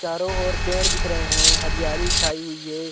चारो और पेड़ दिख रहे हैं हरियाली छाई हुई हैं।